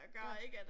Ja